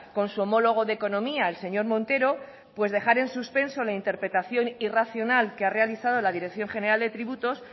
con su homólogo de economía el señor montero pues dejar en suspenso la interpretación irracional que ha realizado la dirección general de tributos